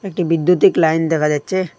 একটি বিদ্যুতিক লাইন দেখা যাচ্ছে।